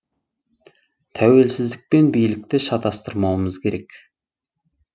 тәуелсіздік пен билікті шатыстырмауымыз керек